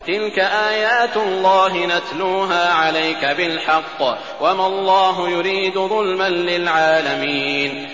تِلْكَ آيَاتُ اللَّهِ نَتْلُوهَا عَلَيْكَ بِالْحَقِّ ۗ وَمَا اللَّهُ يُرِيدُ ظُلْمًا لِّلْعَالَمِينَ